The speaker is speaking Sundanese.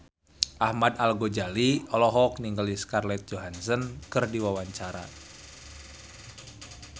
Ahmad Al-Ghazali olohok ningali Scarlett Johansson keur diwawancara